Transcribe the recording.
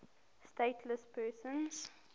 stateless persons